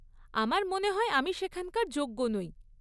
আমার মনে হয় আমি সেখানকার যোগ্য নই।